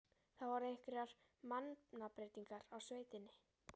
Það hafa orðið einhverjar mannabreytingar á sveitinni?